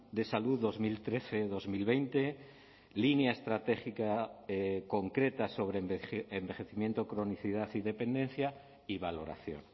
de salud dos mil trece dos mil veinte línea estratégica concreta sobre envejecimiento cronicidad y dependencia y valoración